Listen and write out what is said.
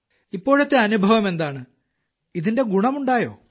ഇപ്പോഴത്തെ അനുഭവമെന്താണ് ഇതിന്റെ ഗുണമുണ്ടായോ